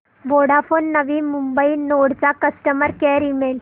Vodafone Navi Mumbai node चा customer care email